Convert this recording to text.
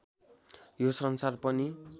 यो संसार पनि